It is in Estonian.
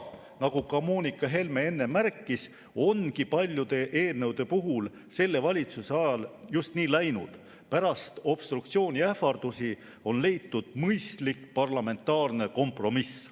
Nagu Moonika Helme enne märkis, on selle valitsuse ajal paljude eelnõude puhul läinud just nii, et pärast obstruktsiooniähvardusi on leitud mõistlik parlamentaarne kompromiss.